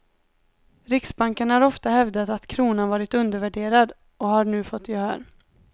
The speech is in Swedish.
Riksbanken har ofta hävdat att kronan varit undervärderad, och har nu fått gehör.